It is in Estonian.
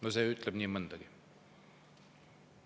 No see ütleb nii mõndagi.